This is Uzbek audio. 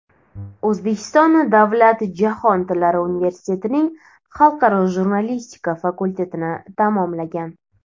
O‘zbekiston davlat jahon tillari universitetining Xalqaro jurnalistika fakultetini tamomlagan.